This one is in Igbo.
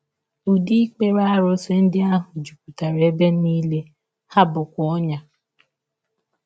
Ụdị ikpere arụsị ndị ahụ jupụtara ebe nile, ha bụkwa ọnyà.